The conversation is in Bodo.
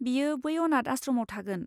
बियो बै अनाथ आश्रमआव थागोन।